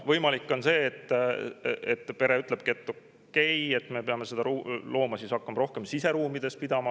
" Võimalik, et see pere ütlebki, et okei, me peame koera hakkama rohkem siseruumides pidama.